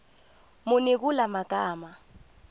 muni kula magama